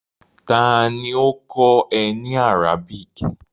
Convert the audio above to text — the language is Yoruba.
Ta ni ó kọ́ ẹ ní Arabic?